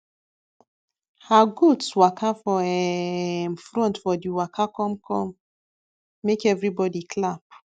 her goats waka for um front for d waka come come make everybody clap